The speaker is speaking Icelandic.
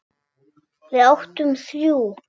Við áttum þrjú.